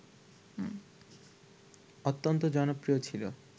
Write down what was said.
অত্যন্ত জনপ্রিয় ছিল